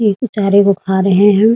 ये उ चारे को खा रहे हैं।